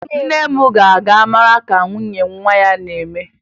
Nne m ga-aga mara ka nwunye nwa ya na-eme